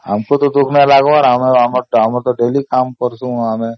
ଆମର ତ daily କାମ କରୁଛୁ ସେୟା